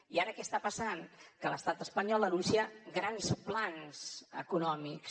i ara què està passant que l’estat espanyol anuncia grans plans econòmics